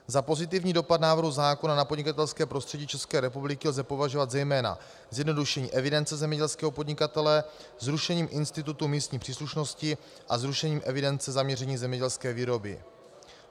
Za pozitivní dopad návrhu zákona na podnikatelské prostředí České republiky lze považovat zejména zjednodušení evidence zemědělského podnikatele zrušením institutu místní příslušnosti a zrušením evidence zaměření zemědělské výroby.